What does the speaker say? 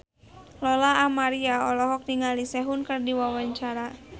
Lola Amaria olohok ningali Sehun keur diwawancara